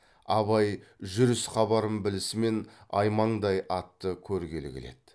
абай жүріс хабарын білісімен аймаңдай атты көргелі келеді